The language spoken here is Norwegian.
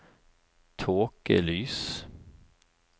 tåkelys